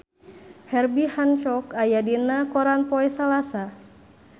Herbie Hancock aya dina koran poe Salasa